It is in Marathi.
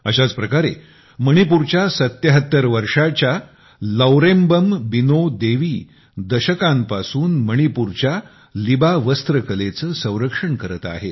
अशाच प्रकारे मणिपूरच्या 77 वर्षाच्या लौरेम्बम बीनो देवी दशकांपासून मणिपूरच्या लिबा टेक्सटाईल आर्टचे संरक्षण करत आहेत